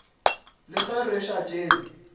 le ge re sa tsebe